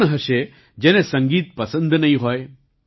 કોણ હશે જેને સંગીત પસંદ નહીં હોય